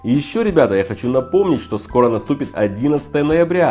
и ещё ребята я хочу напомнить что скоро наступит одиннадцатое ноября